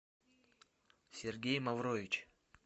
сергей маврович